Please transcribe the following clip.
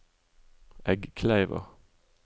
Eggkleiva